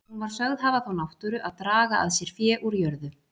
Hún var sögð hafa þá náttúru að draga að sér fé úr jörðu.